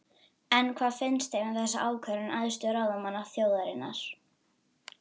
En hvað finnst þeim um þessa ákvörðun æðstu ráðamanna þjóðarinnar?